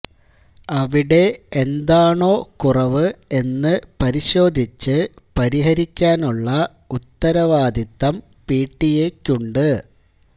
അവിടെ എന്താണോ കുറവ് എന്ന് പരിശോധിച്ച് പരിഹരിക്കാനുള്ള ഉത്തരവാദിത്വം പിടിഎക്കുണ്ട്